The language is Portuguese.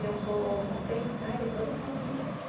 Eu vou pensar e depois eu falo com você.